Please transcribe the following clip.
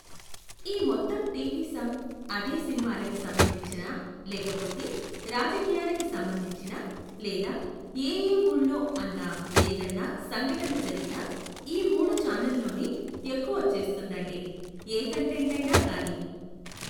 ఈ మొత్తం టీవీ సం అదే సినిమాలకి సంబంధించిన లేకపోతే రాజకీయాలకి సంబంధించిన లేదా ఏ ఏ ఊళ్ళో అన్నా ఏదన్నా సంఘట జరిగినా ఈ మూడు ఛానల్లోనే ఎక్కువొచ్చేస్తుందండి, ఏ కంటెంట్ అయినా కానీ.